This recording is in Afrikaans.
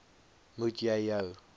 moet jy jou